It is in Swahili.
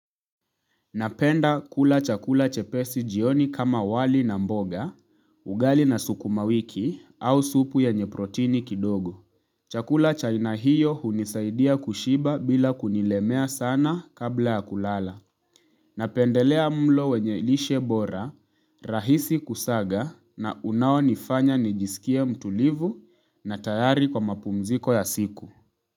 Napenda kula chakula chepesi jioni kama wali na mboga, ugali na sukumawiki au supu yenye protini kidogo. Chakula cha aina hiyo unisaidia kushiba bila kunilemea sana kabla ya kulala. Napendelea mlo wenye ilishe bora, rahisi kusaga na unao nifanya nijisikie mtulivu na tayari kwa mapumziko ya siku.